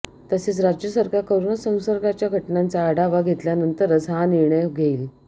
तसेच राज्य सरकार कोरोना संसर्गाच्या घटनांचा आढावा घेतल्यानंतरच हा निर्णय घेईल